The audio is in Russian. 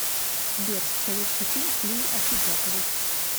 сбер советский фильм с лией ахеджаковой